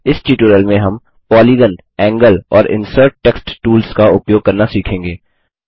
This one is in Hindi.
इस ट्यूटोरियल में हम पोलीगान एंगल और इंसर्ट टेक्स्ट टूल्स का उपयोग करना सीखेंगे